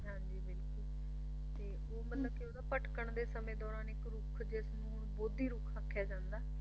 ਉਹ ਮਤਲਬ ਕੇ ਓਹਦਾ ਭਟਕਣ ਦੇ ਸਮੇਂ ਦੌਰਾਨ ਇੱਕ ਰੁੱਖ ਜਿਸਨੂੰ ਬੌਧੀ ਰੁੱਖ ਆਖਿਆ ਜਾਂਦਾ